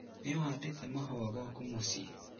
Nĩũhandĩte mahũa gwaku mũciĩ?